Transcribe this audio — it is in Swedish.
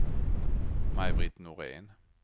Maj-Britt Norén